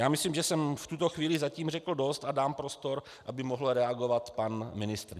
Já myslím, že jsem v tuto chvíli zatím řekl dost a dám prostor, aby mohl reagovat pan ministr.